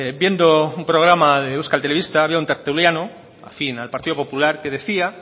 viendo un programa de euskal telebista había un tertuliano afín al partido popular que decía